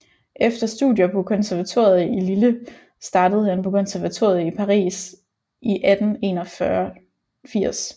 Efter studier på konservatoriet i Lille startede han på konservatoriet i Paris i 1881